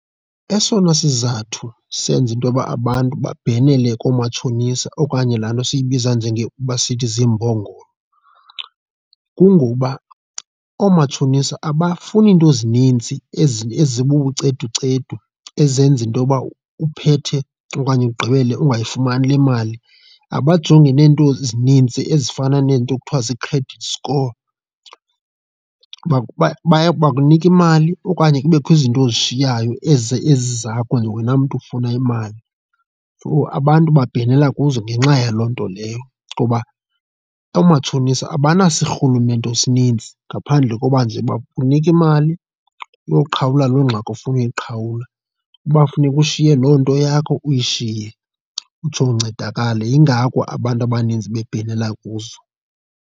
Esona sizathu senza intoyoba abantu babhenele koomatshonisa okanye laa nto siyibiza njengoba sithi ziimbongolo, kungoba oomatshonisa abafuni iinto ezininzi ezibuceducedu ezenza intoyokuba uphethe okanye ugqibele ungayifumani le mali. Ababajongi neento ezinintsi ezifana neento kuthiwa zii-credit score, baye, baye bakunike imali okanye kubekho izinto oshiyekayo ezi ezizakho wena mntu ufuna imali. So abantu bhenela kuzo ngenxa yaloo nto leyo ngoba oomatshonisa abanasirhulumento esininzi ngaphandle koba nje uba kunika imali uyoqhawulwa loo ngxaki ofuna uyiqhawula. Uba funeka ushiye loo nto yakho uyishiye utsho uncedakale, yingako abantu abaninzi bebhenela kuzo.